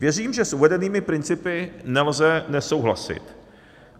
Věřím, že s uvedenými principy nelze nesouhlasit.